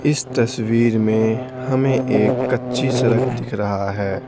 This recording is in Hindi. इस तस्वीर में हमें एक कच्ची सड़क दिख रहा है।